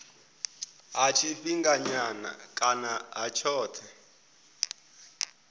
ha tshifhinganyana kana ha tshothe